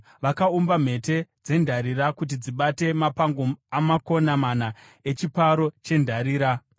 Vakaumba mhete dzendarira kuti dzibate mapango amakona mana echiparo chendarira.